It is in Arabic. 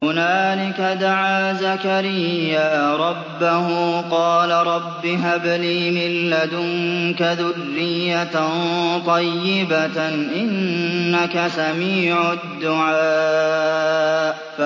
هُنَالِكَ دَعَا زَكَرِيَّا رَبَّهُ ۖ قَالَ رَبِّ هَبْ لِي مِن لَّدُنكَ ذُرِّيَّةً طَيِّبَةً ۖ إِنَّكَ سَمِيعُ الدُّعَاءِ